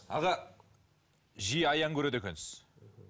аға жиі аян көреді екенсіз